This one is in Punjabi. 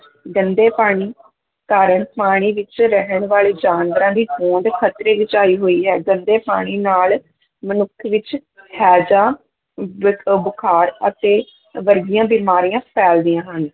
ਗੰਦੇ ਪਾਣੀ ਕਾਰਨ ਪਾਣੀ ਵਿੱਚ ਰਹਿਣ ਵਾਲੇ ਜਾਨਵਰਾਂ ਦੀ ਹੋਂਦ ਖ਼ਤਰੇ ਵਿੱਚ ਆਈ ਹੋਈ ਹੈ, ਗੰਦੇ ਪਾਣੀ ਨਾਲ ਮਨੁੱਖ ਵਿੱਚ ਹੈਜਾ ਬੁਖਾਰ ਅਤੇ ਵਰਗੀਆਂ ਬਿਮਾਰੀਆਂ ਫੈਲਦੀਆਂ ਹਨ,